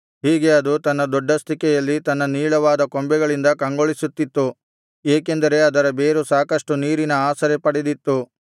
ಹೀಗೆ ಅದು ತನ್ನ ದೊಡ್ಡಸ್ತಿಕೆಯಲ್ಲಿ ತನ್ನ ನೀಳವಾದ ಕೊಂಬೆಗಳಿಂದ ಕಂಗೊಳಿಸುತ್ತಿತ್ತು ಏಕೆಂದರೆ ಅದರ ಬೇರು ಸಾಕಷ್ಟು ನೀರಿನ ಆಸರೆ ಪಡೆದಿತ್ತು